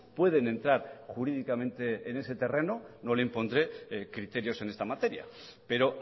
pueden entrar jurídicamente en ese terreno no le impondré criterios en esta materia pero